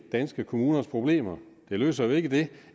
danske kommuners problemer det løser jo ikke det